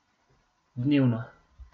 Dnevno.